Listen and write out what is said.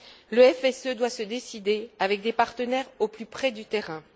Le FSE doit se décider avec des partenaires au plus près du terrain.